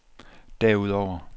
derudover